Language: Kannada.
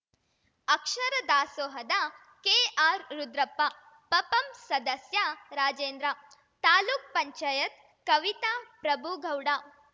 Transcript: ಅಕ್ಷರ ದಾಸೋಹದ ಕೆಆರ್‌ರುದ್ರಪ್ಪ ಪಪಂ ಸದಸ್ಯ ರಾಜೇಂದ್ರ ತಾಲೂಕ್ ಪಂಚಾಯತ್ ಕವಿತಾ ಪ್ರಭುಗೌಡ